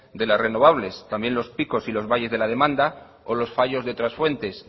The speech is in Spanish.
de las renovables también los picos y los valles de la demanda o los fallos de otras fuentes